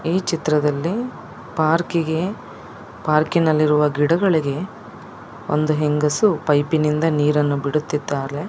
ಈ ಚಿತ್ರದಲ್ಲಿ ಪಾರ್ಕಿಗೆ ಪಾರ್ಕಿ ನಲ್ಲಿ ಇರುವ ಗಿಡಗಳಿಗ ಒಂದು ಹೆಂಗಸು ಪೈಪ ನಿಂದ ನಿರನ್ನು ಬಿಡುತಿದ್ದಾರೆ .